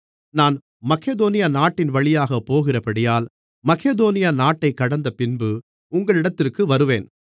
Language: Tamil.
நான் மக்கெதோனியா நாட்டின்வழியாக போகிறபடியால் மக்கெதோனியா நாட்டைக் கடந்தபின்பு உங்களிடத்திற்கு வருவேன்